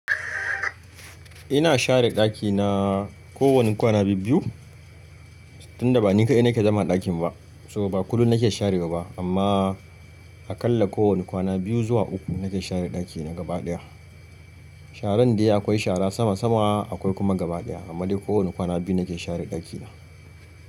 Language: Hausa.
Ina share ɗakina ko wani kwana biyu-biyu tunda ba ni ka dai na ke zama a ɗakin ba. To ba kullum na ke sharewa ba amma a kalla ko wani kwana biyu zuwa uku na ke share ɗaki na gaba ɗaya. Sharan dai akwai shara sama sama akwai kuma gaba ɗaya amma dai ko wani kwana biyu na ke share ɗakina.